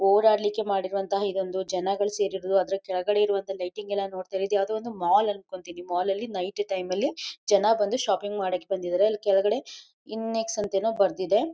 ಓಡಾಡ್ಲಿಕ್ಕೆ ಮಾಡಿರುವಂತಹ ಇದೊಂದು ಜನಗಳಿಗೆ ಸೇರಿದ್ದು ಅದರ ಕೆಳಗಡೆ ಇರುವಂತಹ ಲೈಟಿಂಗ್ ಎಲ್ಲ ನೋಡಿದ್ರೆ ಇದು ಯಾವುದೊ ಒಂದು ಮಾಲ್ ಅನ್ಕೋತೀನಿ ಮಾಲ್ ಲಿ ನೈಟ್ ಟೈಮ್ ಜನ ಬಂದು ಶಾಪಿಂಗ್ ಮಡಕೆ ಬಂದಿದ್ದಾರೆ ಅಲ್ಲಿ ಕೆಳಗಡೆ ಇನ್ನೆಸ್ ಅಂತೇನೋ ಬರ್ದಿದೆ.